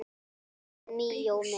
Elsku Míó minn